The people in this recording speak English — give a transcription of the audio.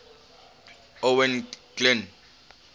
owain glynd